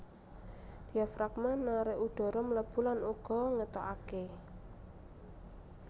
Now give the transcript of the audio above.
Diafragma narik udhara mlebu lan uga ngetokaké